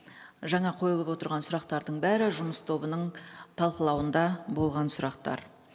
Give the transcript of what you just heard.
жаңа қойылып отырған сұрақтардың бәрі жұмыс тобының талқылауында болған сұрақтар